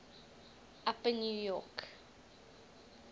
upper new york